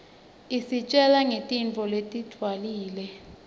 isitjgla nqgtintfo letindwlile